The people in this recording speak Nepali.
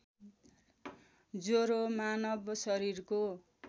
ज्वरो मानव शरीरको